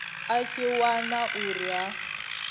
a tshi wana uri ha